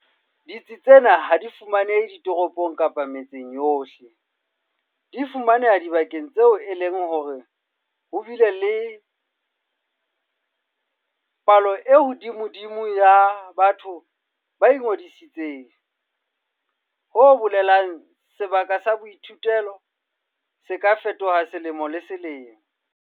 Ditsi tsena ha di fumanehe ditoropong kapa metseng yohle, empa di fumaneha dibakeng tseo e leng hore ho bile le palo e hodimodimo ya batho ba ingodisitseng, ho bolelang sebaka sa boithutelo se ka fetoha selemo le selemo.